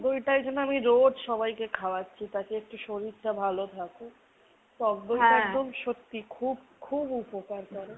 টক দইটা এইজন্য আমি রোজ সবাইকে খাওয়াচ্ছি। যাতে একটু শরীরটা ভালো থাকে। টকদইটা খুব সত্যি খুব খুব উপকার করে।